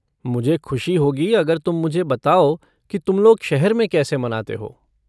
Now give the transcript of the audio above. मुझे ख़ुशी होगी अगर तुम मुझे बताओ कि तुम लोग शहर में कैसे मनाते हो।